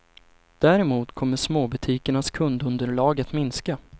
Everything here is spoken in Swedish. Däremot kommer småbutikernas kundunderlag att minska.